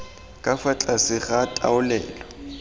ka fa tlase ga taolelo